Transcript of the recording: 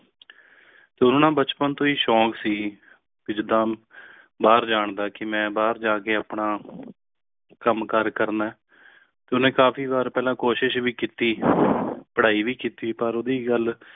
ਤੇ ਉਨਹੂ ਨਾ ਬਚਪਨ ਤੋਂ ਹੈ ਸ਼ੋਕ ਸੀ ਜੀਦਾ ਬਾਹਰ ਜਾਨ ਦਾ ਕ ਮੇਂ ਬਾਹਰ ਜਾ ਕ ਆਪਣਾ ਕਮ ਕਾਰ ਕਰਨਾ ਆ ਤੇ ਉਸਨੇ ਕਾਫੀ ਬਾਰ ਪਹਿਲੇ ਕੋਸ਼ਿਸ਼ ਭੀ ਕਿੱਤੀ ਪ੍ਰਹਾਯੀ ਭੀ ਕਿੱਤੀ ਪਰ ਉਡਦੀ ਗੱਲ